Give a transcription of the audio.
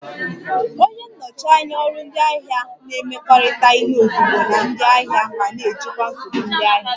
Onye nnọchi anya ọrụ ndị ahịa na-emekọrịta ihe ozugbo na ndị ahịa ma na-ejikwa nsogbu ndị ahịa